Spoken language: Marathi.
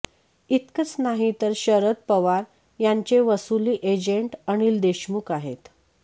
इतकंच नाही तर शरद पवार यांचे वसुली एजंट अनिल देशमुख आहेत